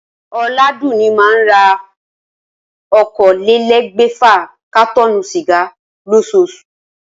Oládùnní máa n ra okòólélé̩́gbè̩fà kátó̩ò̩nù sìgá lós̩oos̩ù